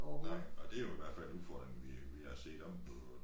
Nej og det jo i hvert fald udfordringen vi vi har set oppe på